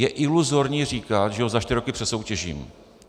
Je iluzorní říkat, že ho za čtyři roky přesoutěžím.